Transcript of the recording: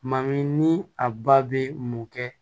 Ma min ni a ba bɛ mun kɛ